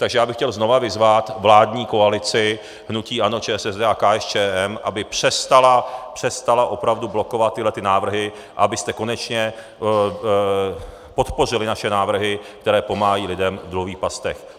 Takže já bych chtěl znova vyzvat vládní koalici hnutí ANO, ČSSD a KSČM, aby přestala opravdu blokovat tyhle návrhy a abyste konečně podpořili naše návrhy, které pomáhají lidem v dluhových pastech.